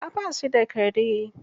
A'a ba su da kare